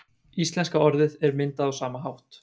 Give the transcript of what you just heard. íslenska orðið er myndað á sama hátt